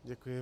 Děkuji.